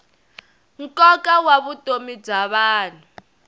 nkoka wa vutomi bya vanhu